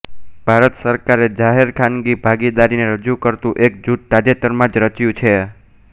ભારત સરકારે જાહેરખાનગી ભાગીદારીને રજૂ કરતું એક જૂથ તાજેતરમાં જ રચ્યું છે